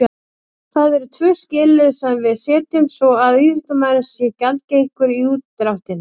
Það eru tvö skilyrði sem við setjum svo að íþróttamaðurinn sé gjaldgengur í útdráttinn.